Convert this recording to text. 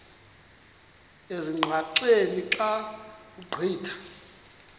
ezingqaqeni xa ugqitha